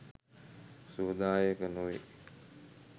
සුවදායක නොවේ.